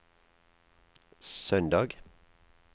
søndag